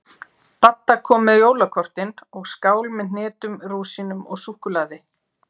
Dadda kom með jólakortin og skál með hnetum, rúsínum og súkkulaði.